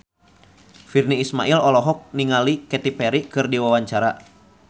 Virnie Ismail olohok ningali Katy Perry keur diwawancara